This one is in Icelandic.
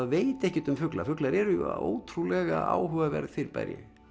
veit ekkert um fugla fuglar eru ótrúlega áhugaverð fyrirbæri